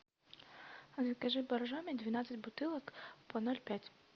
закажи боржоми двенадцать бутылок по ноль пять